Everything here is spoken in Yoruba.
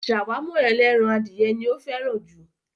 Ṣàwámà ẹlẹ́ran adìyẹ ni ó fẹ́ràn jù.